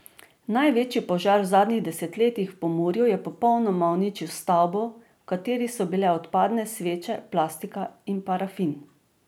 Največji požar v zadnjih desetletjih v Pomurju je popolnoma uničil stavbo, v kateri so bile odpadne sveče, plastika in parafin.